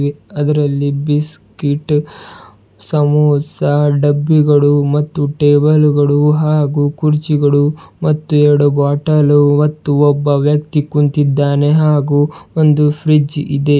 ಅದರಲ್ಲಿ ಬಿಸ್ಕೀಟ್ ಸಮೋಸ ಡಬ್ಬಿಗಳು ಮತ್ತು ಟೇಬಲ್ ಗಳು ಹಾಗು ಕುರ್ಚಿಗಳು ಮತ್ತು ಎರಡು ಬಾಟಲ್ಲು ಮತ್ತು ಒಬ್ಬ ವ್ಯಕ್ತಿ ಕುಂತಿದ್ದಾನೆ ಹಾಗು ಒಂದು ಫ್ರಿಜ್ ಇದೆ.